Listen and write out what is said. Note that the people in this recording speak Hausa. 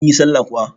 Kin yi sallah kuwa?